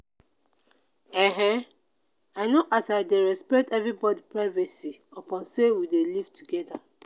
i know as i dey respect everybodi privacy upon sey we dey live togeda.